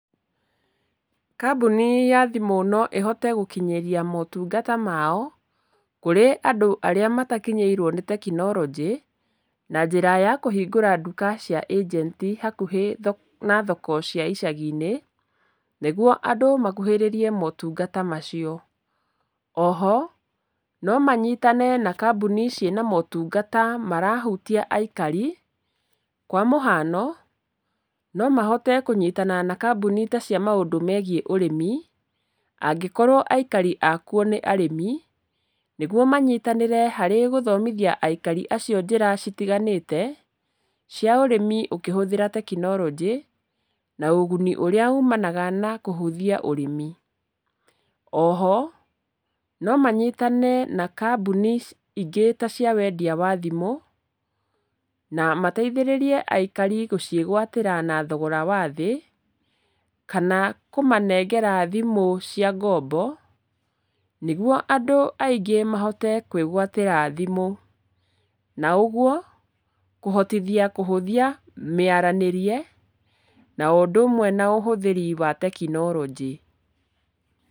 Kambuni ya thimũ no ĩhote gũkinyĩria motungata mao, kũrĩ andũ arĩa matakinyĩirwo nĩ tekinoronjĩ, na njĩra ya kũhingũra nduka cia agent, hakuhĩ na thoko cia icagi-inĩ, nĩguo andũ makuhĩrĩrie motungata macio. Oho, no manyitane na kambuni ciĩna motungata marahutia aikari, kwa mũhano, no mahote kũnyitana na kambuni ta cia maũndũ megiĩ ũrĩmi, angĩkorwo aikari a kuo nĩ arĩmi, nĩguo manyitanĩre harĩ gũthomithia aikari acio njĩra citiganĩte, cia ũrĩmi ũkĩhũthĩra tekinoronjĩ, na ũguni ũrĩa umanaga na kũhũthia ũrĩmi. Oho, no manyitane na kambuni ingĩ ta cia wendia wa thimũ, na mateithĩrĩrie aikari gũciĩgwatĩra na thogora wa thĩ, kana kũmanengera thimũ cia ngombo, nĩguo andũ aingĩ mahote kwĩgwatĩra thimũ. Na ũguo, kũhotithia kũhũthia mĩaranĩrie, na o ũndũ ũmwe na ũhũthĩri wa tekinoronjĩ.